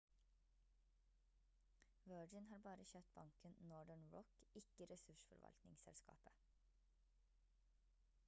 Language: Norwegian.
virgin har bare kjøpt banken northern rock ikke ressursforvaltningsselskapet